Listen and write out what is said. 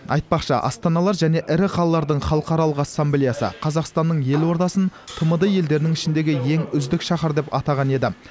айтпақшы астаналар және ірі қалалардың халықаралық ассамблеясы қазақстанның елордасын тмд елдерінің ішіндегі ең үздік шаһар деп атаған еді